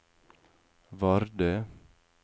Vardø